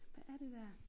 Hvad er det der